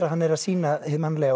hann er að sýna hið mannlega